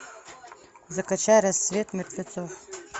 закачай рассвет мертвецов